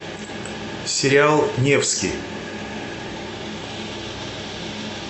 сериал невский